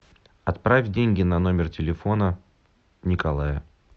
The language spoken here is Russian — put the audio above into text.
отправь деньги на номер телефона николая